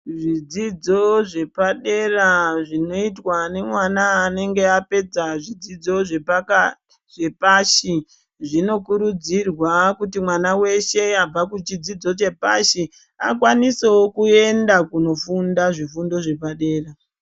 Zvidzidzo zvepadera zvinoitwa nemwana anenge apedza zvidzidzo zvepashi zvinokurudzirwa kuti mwana weshe abva kuchidzidzo zvepashi akwanisewo kuenda kunofunda zvifundo zvepadera.